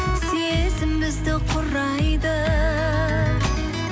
сезім бізді құрайды